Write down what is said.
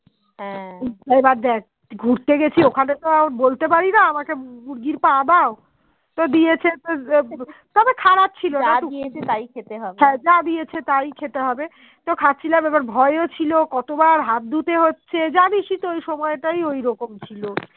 তো খাচ্ছিলাম এবার ভয়েও ছিল কত বার হাত ধুতে হচ্ছে জানিসই তো এই সময় তাই ওই রকম ছিল